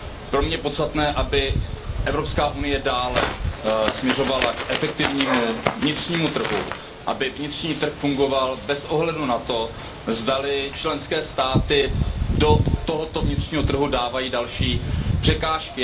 Pro mě je podstatné, aby Evropská unie dále směřovala k efektivnímu vnitřnímu trhu, aby vnitřní trh fungoval bez ohledu na to, zdali členské státy do tohoto vnitřního trhu dávají další překážky.